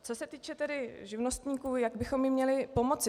Co se týče tedy živnostníků, jak bychom jim měli pomoci.